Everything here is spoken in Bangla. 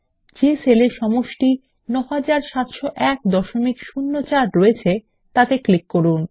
যে সেল এ সমষ্টি ৯৭০১০৪ রয়েছে তাতে ক্লিক করুন